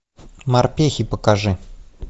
морпехи покажи